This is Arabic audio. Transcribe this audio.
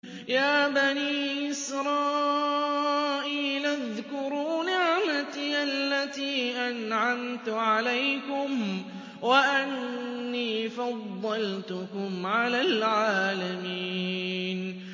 يَا بَنِي إِسْرَائِيلَ اذْكُرُوا نِعْمَتِيَ الَّتِي أَنْعَمْتُ عَلَيْكُمْ وَأَنِّي فَضَّلْتُكُمْ عَلَى الْعَالَمِينَ